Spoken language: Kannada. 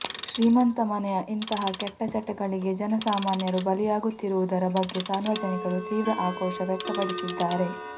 ಶ್ರೀಮಂತ ಮನೆಯ ಇಂತಹ ಕೆಟ್ಟ ಚಟಗಳಿಗೆ ಜನ ಸಾಮಾನ್ಯರು ಬಲಿಯಾಗುತ್ತಿರುವುದರ ಬಗ್ಗೆ ಸಾರ್ವಜನಿಕರು ತೀವ್ರ ಆಕ್ರೋಶ ವ್ಯಕ್ತಪಡಿಸಿದ್ದಾರೆ